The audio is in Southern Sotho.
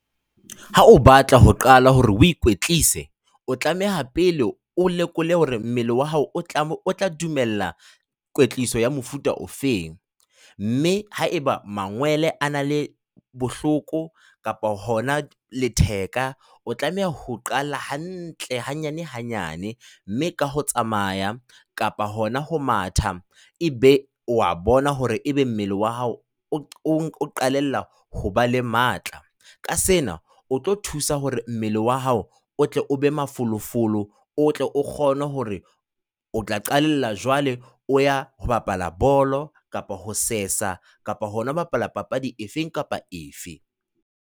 Ha o batla ho qala hore o ikwetlise, o tlameha pele o lekole hore mmele wa hao o tla o tla dumella kwetliso ya mofuta ofeng, mme haeba mangwele a na le bohloko kapa hona letheka, o tlameha ho qala hantle hanyane hanyane mme ka ho tsamaya kapa hona ho matha. Ebe o a bona hore ebe mmele wa hao o qalella ho ba le matla, ka sena o tlo thusa hore mmele wa hao o tle o be mafolofolo, o tle o kgone hore o tla qalella jwale o ya ho bapala bolo kapa ho sesa kapa hona ho bapala papadi efe kapa efe.